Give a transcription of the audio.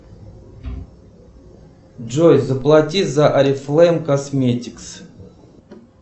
джой заплати за орифлейм косметикс